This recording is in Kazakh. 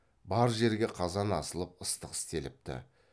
бар жерге қазан асылып ыстық істеліпті